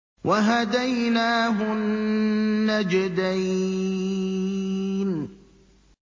وَهَدَيْنَاهُ النَّجْدَيْنِ